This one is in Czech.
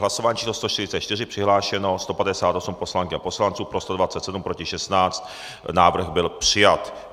Hlasování číslo 144, přihlášeno 158 poslankyň a poslanců, pro 127, proti 16, návrh byl přijat.